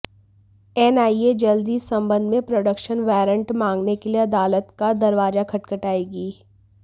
NIA जल्द ही इस संबंध में प्रोडक्शन वारंट मांगने के लिए अदालत का दरवाजा खटखटाएगी